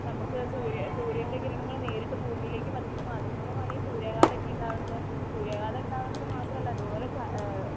നമുക്ക് സൂര്യ സൂര്യന്റെ കിരണങ്ങള് നേരിട്ട് ഭൂമിയിലേക്ക് പതിക്കുന്നു. അതുമൂലമാണ് ഈ സൂര്യാഘാതം ഒക്കെ ഉണ്ടാകുന്നത്. സൂര്യാഘാതം ഉണ്ടാകുന്നത് മാത്രമല്ല ഇതുപോലെ ആ